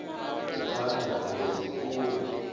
nthani ha uri dzi kule